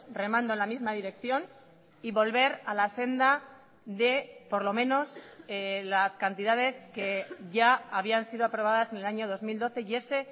remando en la misma dirección y volver a la senda de por lo menos las cantidades que ya habían sido aprobadas en el año dos mil doce y ese